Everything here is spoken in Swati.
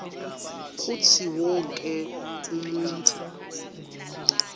kutsi wonkhe umuntfu